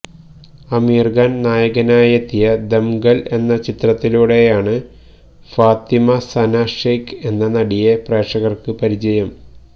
ആമിര് ഖാന് നായകനായെത്തിയ ദംഗല് എന്ന ചിത്രത്തിലൂടെയാണ് ഫാത്തിമ സന ഷെയ്ക് എന്ന നടിയെ പ്രേക്ഷകര്ക്ക് പരിചയം